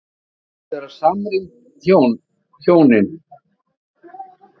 Þið virðist vera samrýnd, hjónin.